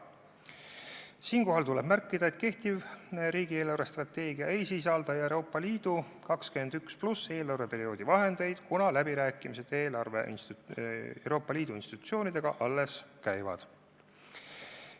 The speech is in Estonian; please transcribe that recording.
Siinkohal tuleb märkida, et kehtiv riigi eelarvestrateegia ei sisalda Euroopa Liidu 2021. aastal algava eelarveperioodi vahendeid, kuna läbirääkimised Euroopa Liidu institutsioonidega alles käivad.